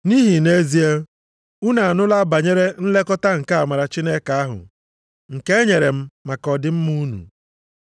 Nʼihi nʼezie, unu anụla banyere nlekọta nke amara Chineke ahụ nke e nyere m maka ọdịmma unu.